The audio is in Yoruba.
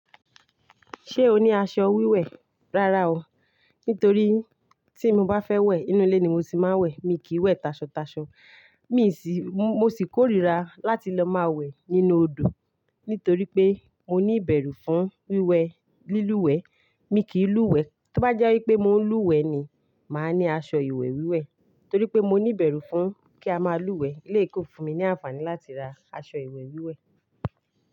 Ṣé o ní aṣọ wíwẹ̀? Rárá o, nítorí tí mo bá fẹ́ wẹ̀, inú ilé ni mo ti máa ń wẹ̀. Mi kì í wẹ̀ tasọtaso. Mì sí, mo sì korira láti lọ máa wẹ̀ nínú odò. Nítorí pé mo ní ìbẹ̀rù fún wíwẹ̀ lílúwẹ̀ẹ́. Mi kì í lúwẹ̀ẹ́. Tí ó bá jẹ́ wípé mo ń lúwẹ̀ẹ́ ni, màá ní aṣọ ìwẹ̀ wíwẹ̀. Torí pé mo ní ìbẹ̀rù fún kí a máa lúwẹ̀ẹ́. Ilé e kó fún mi ní àǹfààní láti ra aṣọ ìwẹ̀ wíwẹ̀.